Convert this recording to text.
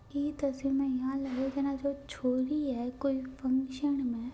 इ तस्वीर म एया जाने कोई छोरी है कोई फंक्शन म--